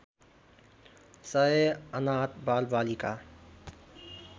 सय अनाथ बालबालिका